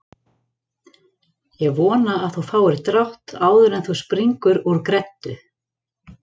Ég vona að þú fáir drátt áður en þú springur úr greddu